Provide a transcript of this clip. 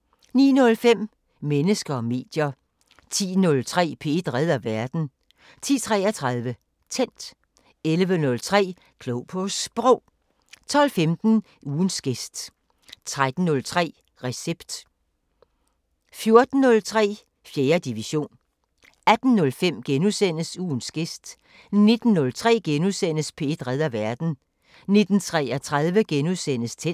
09:05: Mennesker og medier 10:03: P1 redder verden 10:33: Tændt 11:03: Klog på Sprog 12:15: Ugens gæst 13:03: Recept 14:03: 4. division 18:05: Ugens gæst * 19:03: P1 redder verden * 19:33: Tændt *